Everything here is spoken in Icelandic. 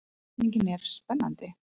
Spurningin er spennandi.